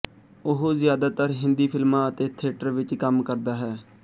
ਉਹ ਜ਼ਿਆਦਾਤਰ ਹਿੰਦੀ ਫਿਲਮਾਂ ਅਤੇ ਥੇਟਰ ਵਿੱਚ ਕੰਮ ਕਰਦਾ ਹੈ